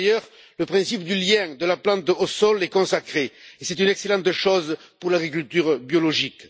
Par ailleurs, le principe du lien de la plante au sol est consacré, ce qui est une excellente chose pour l'agriculture biologique.